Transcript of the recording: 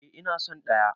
Eh ina son ɗaya.